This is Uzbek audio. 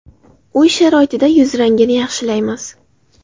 Uy sharoitida yuz rangini yaxshilaymiz.